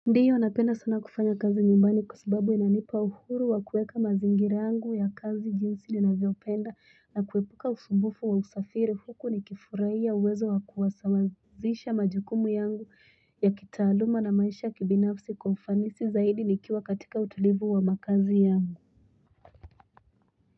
Ndiyo napenda sana kufanya kazi nyumbani kwasababu inanipa uhuru wa kueka mazingira yangu ya kazi jinsi nina vyopenda na kuepuka usumbufu wa usafiri huku ni kifurahia uwezo wa kuwasawazisha majukumu yangu ya kitaaluma na maisha ya kibinafsi kwa ufanisi zaidi nikiwa katika utulivu wa makazi yangu.